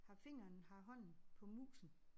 Har fingeren har hånden på musen